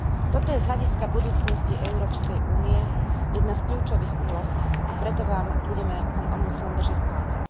Toto je z hľadiska budúcnosti Európskej únie jedna z kľúčových úloh, a preto vám budeme, pán ombudsman, držať palce.